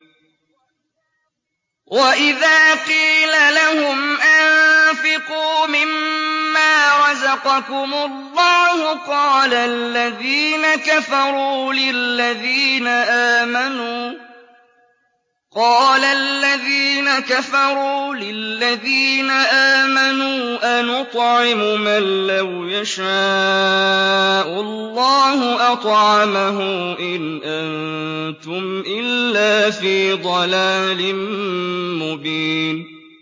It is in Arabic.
وَإِذَا قِيلَ لَهُمْ أَنفِقُوا مِمَّا رَزَقَكُمُ اللَّهُ قَالَ الَّذِينَ كَفَرُوا لِلَّذِينَ آمَنُوا أَنُطْعِمُ مَن لَّوْ يَشَاءُ اللَّهُ أَطْعَمَهُ إِنْ أَنتُمْ إِلَّا فِي ضَلَالٍ مُّبِينٍ